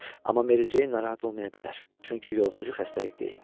Amma Meri Ceyn narahat olmaya bilər, çünki yoluxucu xəstəlik deyil.